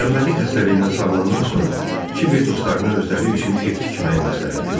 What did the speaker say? Tənbəllik xəstəliyindən sağalandan sonra Kiber dostlarına özləri üçün ev tikməyi məsləhət gördü.